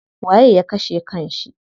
Waye ya kashe kan shi?